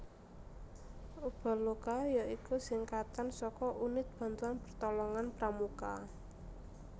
Ubaloka ya iku singkatan saka Unit Bantuan Pertolongan Pramuka